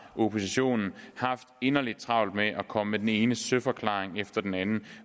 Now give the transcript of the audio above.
oppositionen haft inderligt travlt med at komme med den ene søforklaring efter den anden